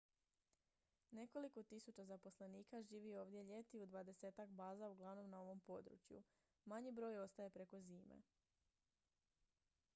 nekoliko tisuća zaposlenika živi ovdje ljeti u dvadesetak baza uglavnom na ovom području manji broj ostaje preko zime